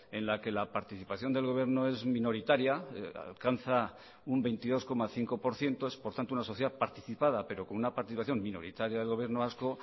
en la que la participación del gobierno es minoritaria alcanza un veintidós coma cinco por ciento es por tanto una sociedad participada pero con una participación minoritaria del gobierno vasco